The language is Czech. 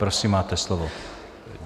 Prosím, máte slovo.